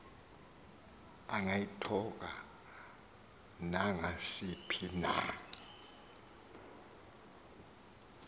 angayithoka nangasiphi na